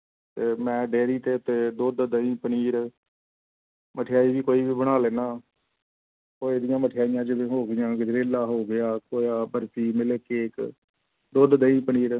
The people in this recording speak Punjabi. ਤੇ ਮੈਂ dairy ਤੇ ਤੇ ਦੁੱਧ ਦਹੀਂ ਪਨੀਰ ਮਠਿਆਈ ਵੀ ਕੋਈ ਵੀ ਬਣਾ ਲੈਂਦਾ ਹਾਂ ਖੋਏ ਦੀਆਂ ਮਠਿਆਈਆਂ ਜਿਵੇਂ ਹੋ ਗਈਆਂ, ਗਜ਼ਰੇਲਾ ਹੋ ਗਿਆ, ਖੋਆ, ਬਰਫ਼ੀ ਮਿਲਕ ਕੇਕ ਦੁੱਧ ਦਹੀਂ ਪਨੀਰ,